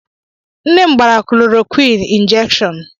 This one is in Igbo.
Nne m gbara klorokwin ịnjekshọn.